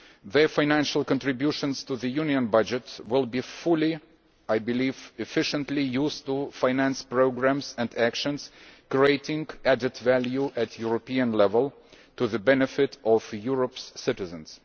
Their financial contributions to the Union budget will be fully and, I believe, efficiently used to finance programmes and actions creating added value at European level for the benefit of Europe's citizens.